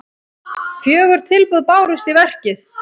Fjögur tilboð bárust í verkið.